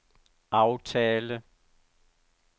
aftale